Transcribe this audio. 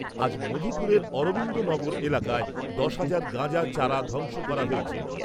আজ মধুপুরের অরবিন্দ নগর এলাকায় দশ হাজার গাঁজা চারা ধ্বংস করা হয়েছে।